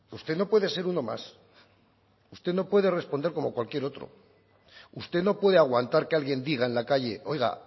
usted no puede ser uno más usted no puede responder como cualquier otro usted no puede aguantar que alguien diga en la calle oiga